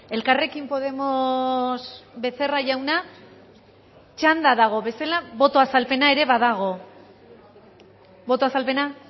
elkarrekin podemos becerra jauna txanda dagoen bezala boto azalpena ere badago boto azalpena